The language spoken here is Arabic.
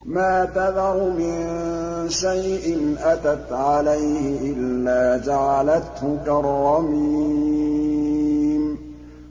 مَا تَذَرُ مِن شَيْءٍ أَتَتْ عَلَيْهِ إِلَّا جَعَلَتْهُ كَالرَّمِيمِ